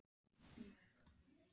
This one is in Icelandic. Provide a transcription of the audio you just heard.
Eru það ekki bara hærri laun?